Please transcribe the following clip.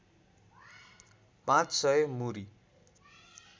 पाँच सय मुरी